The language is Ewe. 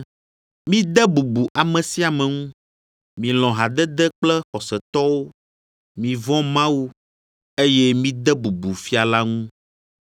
Mide bubu ame sia ame ŋu, milɔ̃ hadede kple xɔsetɔwo, mivɔ̃ Mawu, eye mide bubu fia la ŋu.